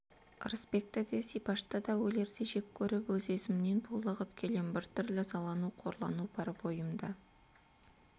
ырысбекті де зибашты да өлердей жек көріп өз-өзімнен булығып келем бір түрлі ызалану қорлану бар бойымда